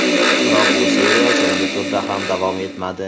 Biroq bu seriya so‘nggi turda ham davom etmadi.